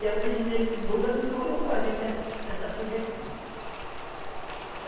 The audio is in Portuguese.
E é o presidente Lula quem colocou a gente nessa, nessa sujeição.